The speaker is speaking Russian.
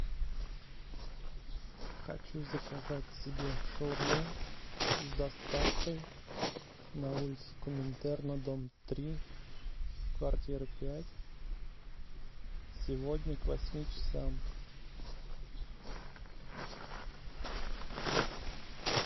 хочу заказать себе шаурму с доставкой на улицу коминтерна дом три квартира пять сегодня к восьми часам